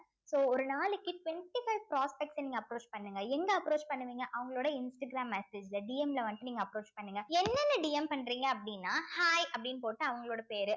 so ஒரு நாளைக்கு twenty-five prospect அ நீங்க approach பண்ணுங்க எங்க approach பண்ணுவீங்க அவங்களோட இன்ஸ்டாகிராம் message ல DM ல வந்துட்டு நீங்க approach பண்ணுங்க என்னென்ன DM பண்றீங்க அப்படின்னா hi அப்படின்னு போட்டு அவங்களோட பேரு